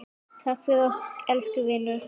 Takk fyrir okkur, elsku vinur.